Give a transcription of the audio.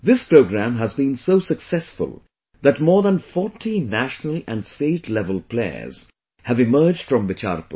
This program has been so successful that more than 40 national and state level players have emerged from Bicharpur